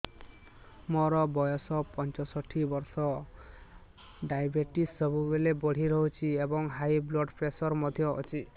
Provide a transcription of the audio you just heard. ମୋର ବୟସ ପଞ୍ଚଷଠି ବର୍ଷ ଡାଏବେଟିସ ସବୁବେଳେ ବଢି ରହୁଛି ଏବଂ ହାଇ ବ୍ଲଡ଼ ପ୍ରେସର ମଧ୍ୟ ଅଛି